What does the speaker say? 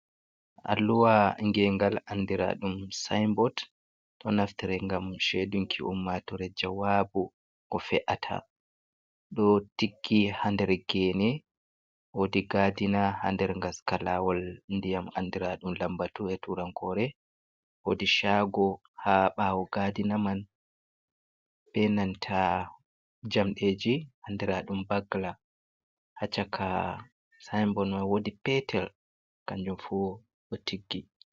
Alluha gengal, andiraaɗum saainbod, ɗo naftore ngam chedunki umaatoore jawaabu ko fe’ata, ɗo tiggi ha nder geene, woodi gaadina ha nder ngaska lawol ndiyam andiraaɗum lambatu e tuurankoore, woodi chaago ha ɓaawo gaadina man, be nanta jamɗeeji andiraaɗum bagla, ha chaka saainbod mai woodi peetel kanjum fu ɗo tiggi.